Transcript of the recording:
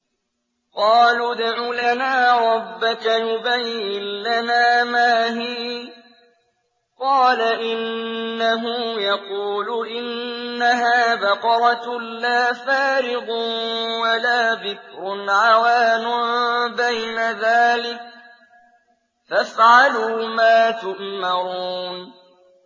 قَالُوا ادْعُ لَنَا رَبَّكَ يُبَيِّن لَّنَا مَا هِيَ ۚ قَالَ إِنَّهُ يَقُولُ إِنَّهَا بَقَرَةٌ لَّا فَارِضٌ وَلَا بِكْرٌ عَوَانٌ بَيْنَ ذَٰلِكَ ۖ فَافْعَلُوا مَا تُؤْمَرُونَ